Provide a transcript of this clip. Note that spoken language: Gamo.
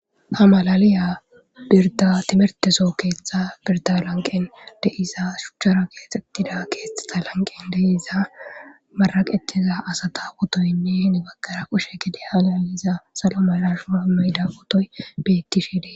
A malaliya birda timerteso keetxa birda lanqen deiza shuchchara geexxettida keexxeta lanqen deiza maraqethiza asata otoynne hine baggara qushe gede azaliza salo malashuno mayda otoy betti shiede.